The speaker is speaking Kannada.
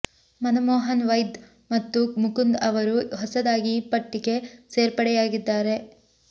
ಮನಮೋಹನ್ ವೈದ್ ಮತ್ತು ಮುಕುಂದ್ ಅವರು ಹೊಸದಾಗಿ ಈ ಪಟ್ಟಿಗೆ ಸೇರ್ಪಡೆಯಾಗಿದ್ದಾರೆ